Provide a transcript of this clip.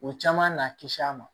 U caman na kisi an ma